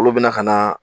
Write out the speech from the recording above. Olu bɛna ka na